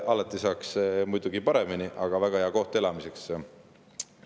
Alati saaks muidugi paremini, aga see on väga hea koht elamiseks.